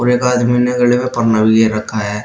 एक आदमी ने लिए रखा है।